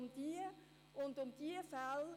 Es geht also um diese Fälle.